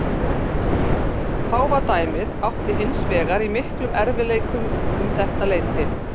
Páfadæmið átti hins vegar í miklum erfiðleikum um þetta leyti.